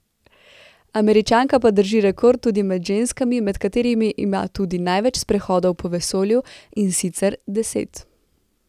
Američanka pa drži rekord tudi med ženskami, med katerimi ima tudi največ sprehodov po vesolju, in sicer deset.